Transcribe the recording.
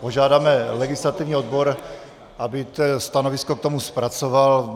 Požádáme legislativní odbor, aby stanovisko k tomu zpracoval.